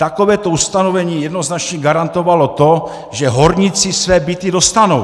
Takovéto ustanovení jednoznačně garantovalo to, že horníci své byty dostanou.